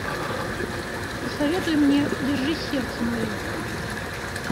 посоветуй мне держи сердце мое